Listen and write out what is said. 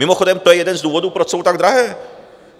Mimochodem, to je jeden z důvodů, proč jsou tak drahé.